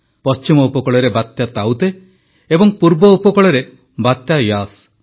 ପଶ୍ଚିମ ଉପକୂଳରେ ବାତ୍ୟା ତାଉତେ ଏବଂ ପୂର୍ବ ଉପକୂଳରେ ବାତ୍ୟା ୟାସ୍